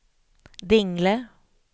Dingle